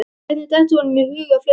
Hvernig dettur honum í hug að flauta?